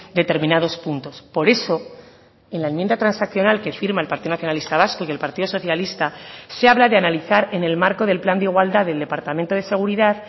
determinados puntos por eso en la enmienda transaccional que firma el partido nacionalista vasco y el partido socialista se habla de analizar en el marco del plan de igualdad del departamento de seguridad